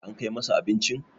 an Kai masa abincin?